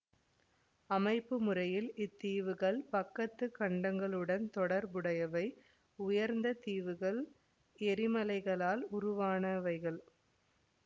அமைப்பு முறையில் இத்தீவுகள் பக்கத்து கண்டங்களுடன் தொடர்புடையவை உயர்ந்த தீவுகள் எரிமலைகளால் உருவானவைகள்